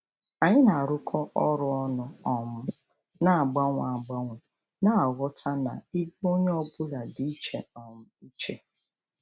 Anyị na-arụkọ ọrụ ọnụ um na-agbanwe agbanwe, na-aghọta na ibu ọrụ onye ọ bụla dị iche um iche.